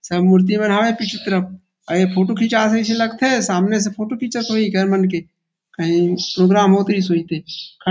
सब मूर्ति मन हावे पीछु तरफ और ए फोटो खीचात अइसे लग थे सामने से फोटो खिचत होही इकर मन के कही प्रोग्राम होत रीहीस होही ते।